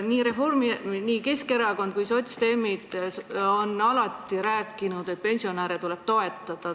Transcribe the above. Nii Keskerakond kui sotsiaaldemokraadid on alati rääkinud, et pensionäre tuleb toetada.